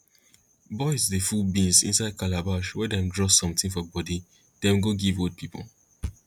boys dey full beans inside calabash wey dem draw something for body dem go give old pipo